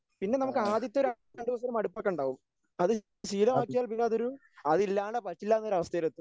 പിന്നെ നമുക്ക് ആദ്യത്തെ രണ്ടുദിവസം ഒരു മടുപ്പൊക്കെ ഉണ്ടാകും. അത് ശീലമാക്കിയാൽ പിന്നതൊരു അത് ഇല്ലാണ്ട് പറ്റില്ല എന്നൊരവസ്ഥയിലെത്തും.